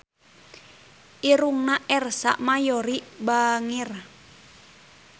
Irungna Ersa Mayori bangir